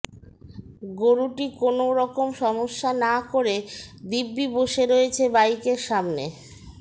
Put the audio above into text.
গরুটি কোনওরকম সমস্যা না করে দিব্যি বসে রয়েছে বাইকের সামনে